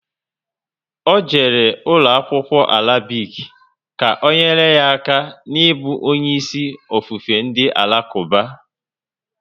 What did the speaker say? Ọ jere ụlọ akwụkwọ Arabic, ka ọ nyere ya aka n'ibu onye isi ofufe ndị alakuba